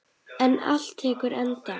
En allt tekur enda.